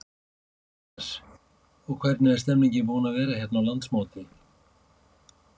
Jóhannes: Og hvernig er stemmningin búin að vera hérna á landsmóti?